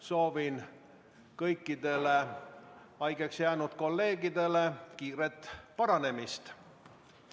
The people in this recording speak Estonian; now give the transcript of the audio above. Soovin kõikidele haigeks jäänud kolleegidele kiiret paranemist.